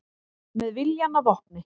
Með viljann að vopni